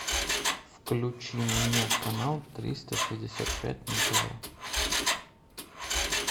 включи мне канал триста шестьдесят пять на тв